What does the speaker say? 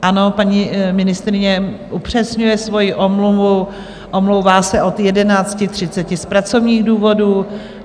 Ano, paní ministryně upřesňuje svoji omluvu, omlouvá se od 11.30 z pracovních důvodů.